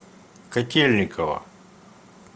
котельниково